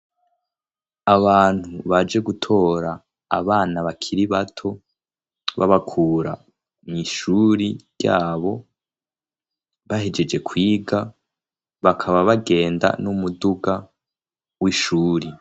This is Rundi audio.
Abantu baje gutora abana bakiri bato babakura mw'ishuri ry'abo bahejeje kwiga, bakaba bagenda n'umuduga w'ishuri.